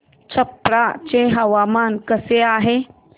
छप्रा चे हवामान कसे आहे